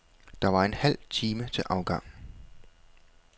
Der var en halv time til afgang.